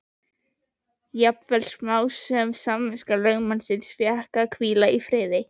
Jafnvel smámunasöm samviska lögmannsins fékk að hvíla í friði.